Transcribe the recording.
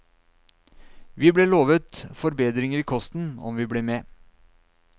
Vi ble lovet forbedringer i kosten om vi ble med.